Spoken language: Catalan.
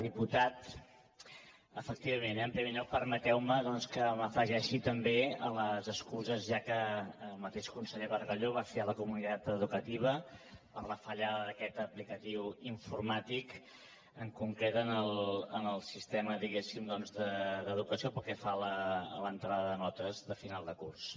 diputat efectivament en primer lloc permeteu me doncs que m’afegeixi també a les excuses ja que el mateix conseller bargalló va fer a la comunitat educativa per la fallada d’aquesta aplicació informàtica en concret en el sistema diguéssim d’educació pel que fa a l’entrada de notes de final de curs